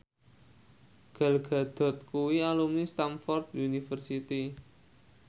Gal Gadot kuwi alumni Stamford University